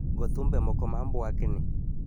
Go thumbe moko ma mbwakni.